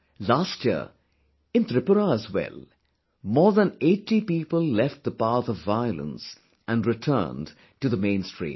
Last year, in Tripura as well, more than 80 people left the path of violence and returned to the mainstream